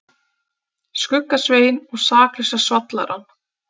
Skugga-Svein og Saklausa svallarann.